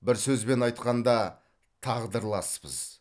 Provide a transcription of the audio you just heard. бір сөзбен айтқанда тағдырласпыз